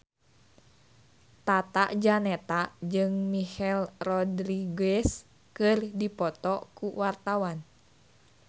Tata Janeta jeung Michelle Rodriguez keur dipoto ku wartawan